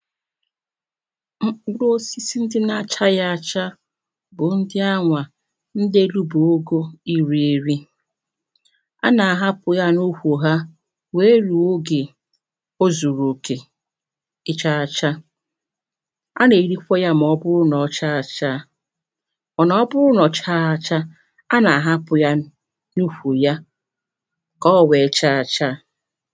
Mkpụrụ osisi ndị na achaghị achà bụ ndị a nwà ndelụbogò iri erì a na ahapụ ya nú:wu ɦa wee ruo oge ozuruokè ịcharachà a na-erikwa ya maọbụụ na ọ cha achà mana ọ bụụ na ọ chagha achà a na-ahapụ yanụ na uwu ya ka o wee cha achà